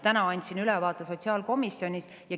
Täna andsin ülevaate sotsiaalkomisjonis.